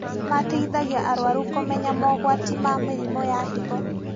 Mateithagia arũaru kũmenya mogwati ma mĩrimũ ya higo